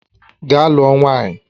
Gaa lụọ nwaanyị!